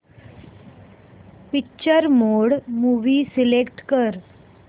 picture mode movie select कर